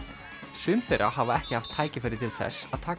sum þeirra hafa ekki haft tækifæri til þess að taka